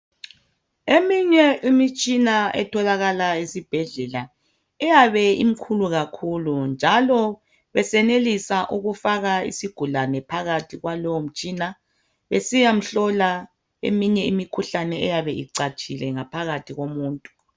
Eminye imitshina etholakala esibhedlela iyabe imikhulu khakhulu njalo besenelisa ukufaka isigulane phakathi kwalowo mtshina, besiya mhlola eminye imikhuhlane eyabe icatshile ngaphakathi komuntu.